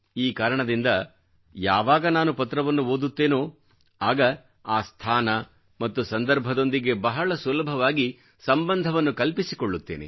ಈ ಕಾರಣದಿಂದ ಯಾವಾಗ ನಾನು ಪತ್ರವನ್ನು ಓದುತ್ತೇನೋ ಆಗ ಆ ಸ್ಥಾನ ಮತ್ತು ಸಂದರ್ಭದೊಂದಿಗೆ ಬಹಳ ಸುಲಭವಾಗಿ ಸಂಬಂಧವನ್ನು ಕಲ್ಪಿಸಿಕೊಳ್ಳುತ್ತೇನೆ